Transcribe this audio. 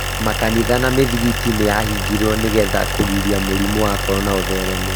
Makanitha na mĩthigiti nĩ yahingirwo nĩ getha kũgiria mũrimũ wa korona ũthereme.